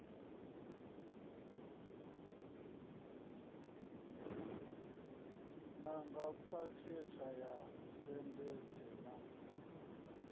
nanga phakhethe ya segereṱe na